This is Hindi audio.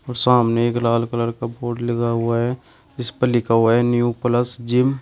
और सामने एक लाल कलर का बोर्ड लगा हुआ है जिसपर लिखा हुआ है न्यू प्लस जिम।